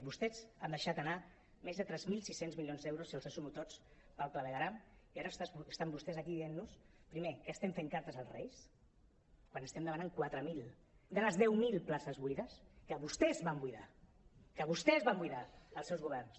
vostès han deixat anar més de tres mil sis cents milions d’euros si els sumo tots pel clavegueram i ara estan vostès aquí dient nos primer que estem fent cartes als reis quan estem demanant quatre mil de les deu mil places buides que vostès van buidar que vostès van buidar els seus governs